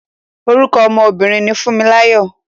Orúkọ ọmọ obìnrin ni Fúnmiláyọ̀.